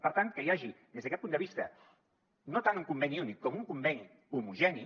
per tant que hi hagi des d’aquest punt de vista no tant un conveni únic com un conveni homogeni